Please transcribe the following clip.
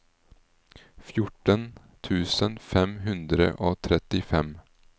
fjorten tusen fem hundre og trettifem